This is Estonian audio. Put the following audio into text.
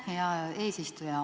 Aitäh, hea eesistuja!